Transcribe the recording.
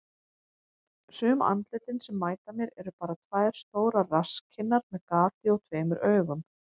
Sum andlitin sem mæta mér eru bara tvær stórar rasskinnar með gati og tveimur augum.